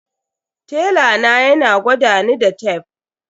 Tela na yana gwadani da tef.